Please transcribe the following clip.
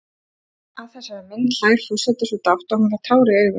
Að þessari mynd hlær forseti svo dátt að hún fær tár í augun.